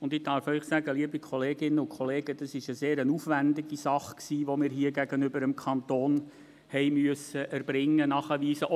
Und ich darf Ihnen sagen, liebe Kolleginnen und Kollegen, das war eine sehr aufwendige Sache, die wir hier gegenüber dem Kanton erbringen, nachweisen mussten.